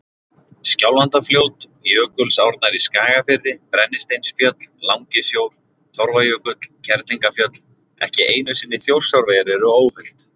Skjálfandafljót, Jökulsárnar í Skagafirði, Brennisteinsfjöll, Langisjór, Torfajökull, Kerlingarfjöll, ekki einu sinni Þjórsárver eru óhult.